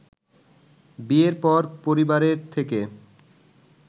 বিয়ের পর পরিবারের থেকে